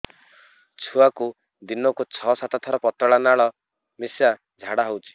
ଛୁଆକୁ ଦିନକୁ ଛଅ ସାତ ଥର ପତଳା ନାଳ ମିଶା ଝାଡ଼ା ହଉଚି